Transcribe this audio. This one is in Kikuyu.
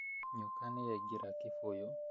Nyoka nĩyaingĩra kĩbũyũ